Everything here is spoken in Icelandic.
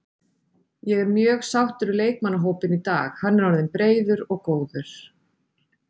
Ég er mjög sáttur við leikmannahópinn í dag, hann er orðinn breiður og góður.